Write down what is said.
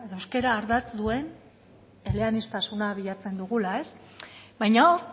eta euskara ardatz duen eleaniztasuna bilatzen dugula ez baina hor